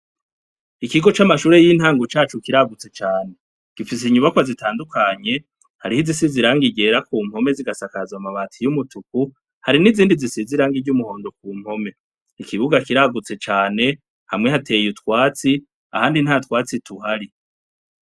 Ikigo c'amashure y'intangu cacu kiragutse cane gifise inyubakwa zitandukanye hariho izisiziranga igera ku mpome zigasakaza amabati y'umutuku hari n'izindi zisi zirangiry'umuhondo ku mpome ikibuga kiragutse cane hamwe hateye utwatsi ahandi nta twatsi tuhari.